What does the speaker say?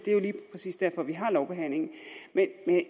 præcis derfor vi har lovbehandlingen men